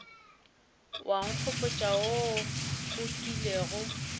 wa nkgopotša wo o kilego